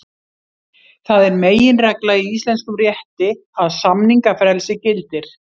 Það er meginregla í íslenskum rétti að samningafrelsi gildir.